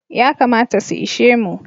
Yakamata su ishe mu.